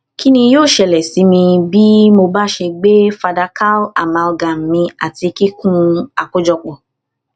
kini yoo ṣẹlẹ si mi bi mo ṣe gbe fadakaamalgam mì ati kikun akojọpọ